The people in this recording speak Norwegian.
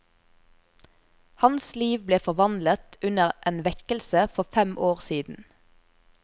Hans liv ble forvandlet under en vekkelse for fem år siden.